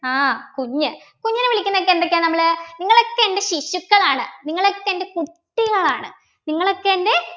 ആഹ് കുഞ്ഞ് കുഞ്ഞിനെ വിളിക്കുന്ന ഒക്കെ എന്തൊക്കെയാ നമ്മള് നിങ്ങളൊക്കെ എൻ്റെ ശിശുക്കളാണ് നിങ്ങളൊക്കെ എൻ്റെ കുട്ടികളാണ് നിങ്ങളൊക്കെ എൻ്റെ